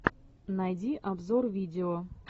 найди обзор видео